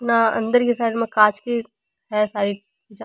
न अंदर की साइड में कांच की है सारी वाज़ा।